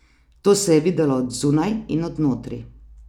To se je videlo od zunaj in od notri.